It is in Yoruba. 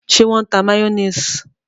Ṣe wọn n tá mayonnaise?